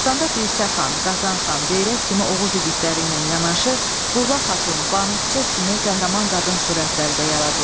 Dastanda Dirsə xan, Qazan xan, Beyrək kimi Oğuz igidləri ilə yanaşı Burla Xatun, Banuçiçək kimi qəhrəman qadın surətləri də yaradılıb.